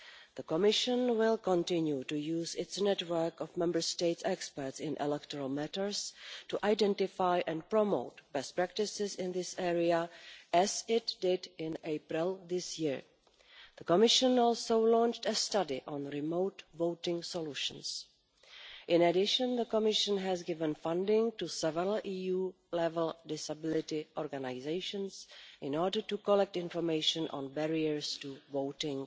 The Commission will continue to use its network of Member State experts in electoral matters to identify and promote best practices in this area, as it did in April this year. The Commission has also launched a study on remote voting solutions. In addition, the Commission has given funding to several EU-level disability organisations in order to collect information on barriers to voting,